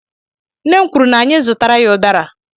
Nne m kwuru na anyị zụtara ya udara